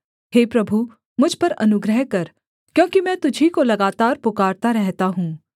हे प्रभु मुझ पर अनुग्रह कर क्योंकि मैं तुझी को लगातार पुकारता रहता हूँ